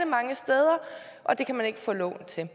mange steder og det kan man ikke få lån til